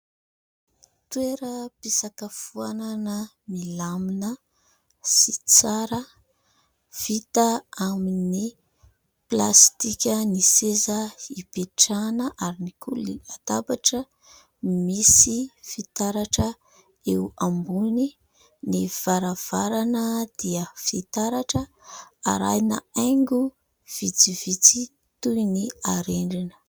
Toeram-pisakafoanana milamina sy tsara. Vita amin'ny plastika ny seza ipetrahana ary ihany koa ny latabatra misy fitaratra eo ambony. Ny varavarana dia fitaratra arahina haingo vitsivitsy toy ny harendrina.